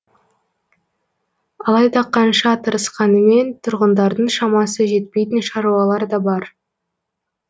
алайда қанша тырысқанымен тұрғындардың шамасы жетпейтін шаруалар да бар